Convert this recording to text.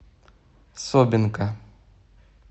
собинка